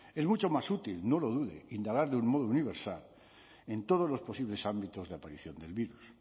en mucho más útil no lo dude indagar de un modo universal en todos los posibles ámbitos de aparición del virus